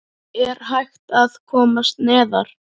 Er hægt að komast neðar?